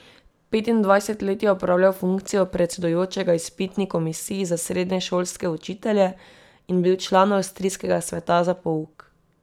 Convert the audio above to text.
Petindvajset let je opravljal funkcijo predsedujočega izpitni komisiji za srednješolske učitelje in bil član avstrijskega sveta za pouk.